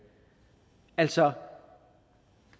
altså